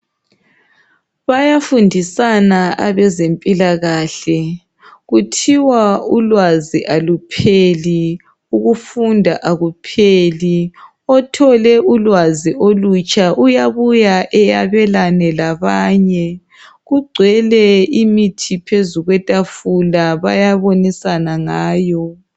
Bayafundisana abezempilakahle kuthiwa ulwazi alupheli ukufunda akupheli othole ulwazi olutsha iyabuya eyabelane labanye. Kugcwele imithi phezu kwetafula bayabonisana ngayo